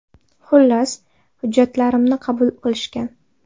Xullas, hujjatlarimni qabul qilishgan.